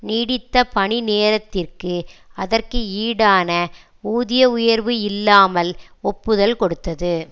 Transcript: நீடித்த பணி நேரத்திற்கு அதற்கு ஈடான ஊதிய உயர்வு இல்லாமல் ஒப்புதல் கொடுத்தது